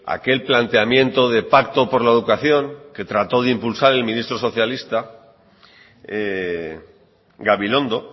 aquel planteamiento de pacto por la educación que trató de impulsar el ministro socialista gabilondo